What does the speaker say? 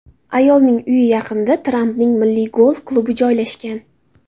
Ayolning uyi yaqinida Trampning Milliy golf klubi joylashgan.